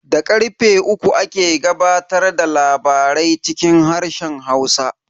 Da karfe uku ake gabatar da labarai cikin harshen Hausa.